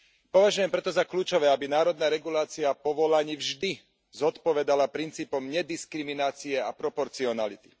Považujem preto za kľúčové, aby národná regulácia povolaní vždy zodpovedala princípom nediskriminácie a proporcionality.